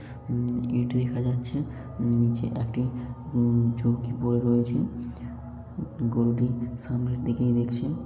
হুম ইঁট দেখা যাচ্ছে নিচে একটি উম চৌকি পড়ে রয়েছে। গরুটি সামনের দিকেই দেখছে।